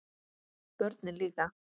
Börnin líka.